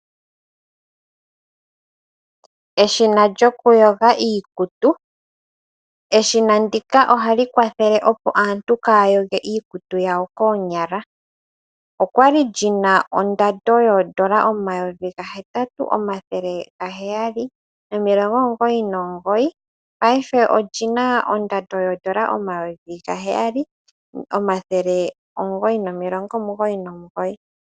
Eshina lyoku yoga iikutu, eshina ndika ohali kwathele opo aantu kaya yoge iikutu yawo koonyala. Okwali ndjina ondando yondola 8799 paife olyina ondando yondola 7999.